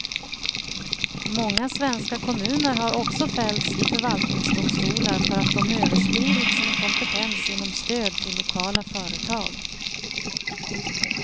Många svenska kommuner har också fällts i förvaltningsdomstolar för att de överskridit sin kompetens genom stöd till lokala företag.